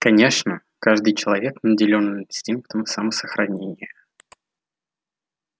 конечно каждый человек наделен инстинктом самосохранения